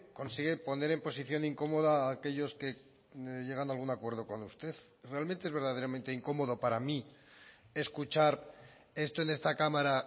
consigue poner en posición incómoda a aquellos que llegando a algún acuerdo con usted realmente es verdaderamente incómodo para mí escuchar esto en esta cámara